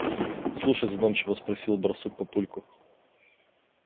слушай задумчиво спросил барсук папульку